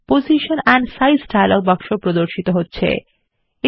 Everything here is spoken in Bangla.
position and size dialogue box এ প্রদর্শিত হচ্ছে